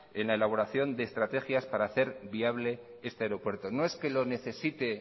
en la elaboración de estrategias para hacer viable este aeropuerto no es que lo necesite